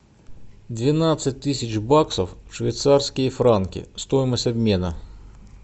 двенадцать тысяч баксов в швейцарские франки стоимость обмена